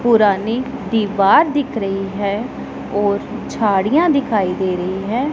पुरानी दीवार दिख रही है और झाड़ियां दिखाई दे रही हैं।